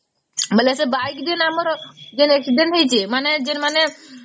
ମାନେ ସେ bike ଦୁଇ ଆମର accident ହେଇଚି ମାନେ ଜୀର ମାନେ